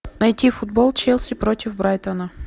найти футбол челси против брайтона